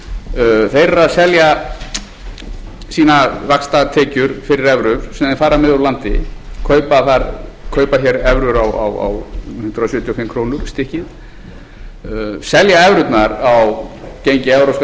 eru þeir eru að selja sínar vaxtatekjur fyrir evrur sem þeir fara með úr landi kaupa hér evrur á hundrað sjötíu og fimm krónur stykkið selja evrurnar á gengi evrópska